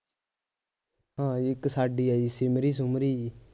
ਹਾਂ ਇੱਕ ਸਾਡੀ ਆਈ ਸੀ ਸਿਮਰੀ ਸੁਮਰੀ ਜਿਹੀ